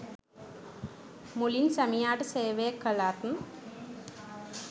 මුලින් සැමියාට සේවය කළත්